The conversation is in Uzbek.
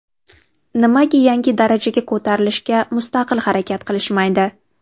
Nimaga yangi darajaga ko‘tarilishga mustaqil harakat qilishmaydi?